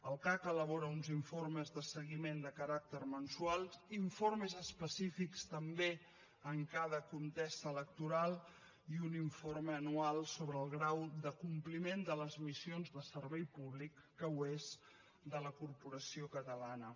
el cac elabora uns informes de seguiment de caràcter mensual informes específics també en cada contesa electoral i un informe anual sobre el grau de compliment de les missions de servei públic que ho és de la corporació catalana